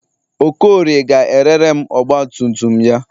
Okorie ga-erere m ọgbatumtum ya.